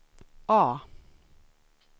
A